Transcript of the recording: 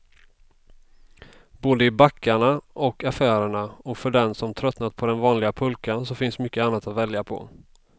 Både i backarna och affärerna, och för den som tröttnat på den vanliga pulkan finns mycket annat att välja på.